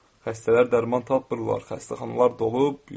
Xəstələr dərman tapmırlar, xəstəxanalar dolub.